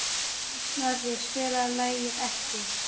Snorri, spilaðu lagið „Ekki“.